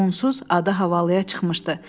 Onsuz adı havalıya çıxmışdı.